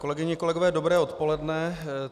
Kolegyně a kolegové, dobré odpoledne.